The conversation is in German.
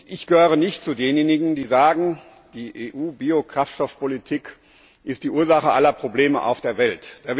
Ich gehöre nicht zu denjenigen, die sagen, die EU Biokraftstoffpolitik ist die Ursache aller Probleme auf der Welt.